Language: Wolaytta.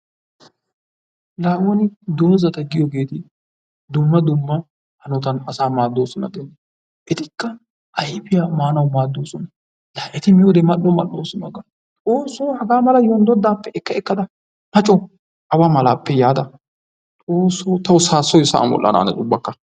La woni doozata giyogeeti dumma dumma hanotan asaa maaddoosona giyogaa. Etikka ayfiya maanawu maaddoosona. La eti miyode mal"o mal"oosona ga! Xoossoo hagaa mala yondoddaappe ekka ekkada ma coo! Awa malaappe yaada xoossoo tawu saassoyi sa"an wodhdhanaanes ubbakka.